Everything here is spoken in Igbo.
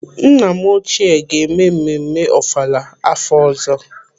Nna m ochie ga-eme mmemme ọfala afọ ọzọ.